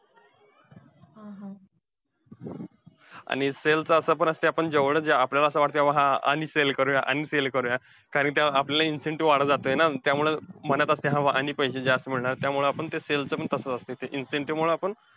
आणि sell चं असं पण असतंय, आपण जेवढं जा अं आपल्याला असं वाटतंय आणि sell करूया आणि sell करूया, कारण ते आपल्याला incentive वाढत जातंय ना, त्यामुळे म्हणत असतील हा आणि पैसे जास्त मिळणार. त्यामुळं आपण ते sell चं पण तसंच असतंय. त्याच्या incentive मुळे आपण,